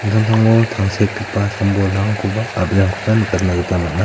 samtangtango tangsekgipa sam-bolrangkoba a·brirangkoba nikatna gita man·a.